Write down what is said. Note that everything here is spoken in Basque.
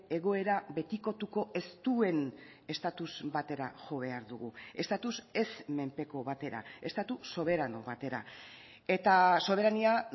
egoera betikotuko ez duen estatus batera jo behar dugu estatus ez menpeko batera estatu soberano batera eta soberania